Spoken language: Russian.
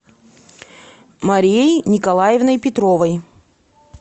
марией николаевной петровой